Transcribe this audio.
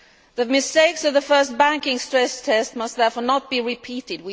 The mistakes of the first banking stress test must therefore not be repeated